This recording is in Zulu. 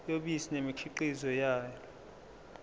yobisi nemikhiqizo yalo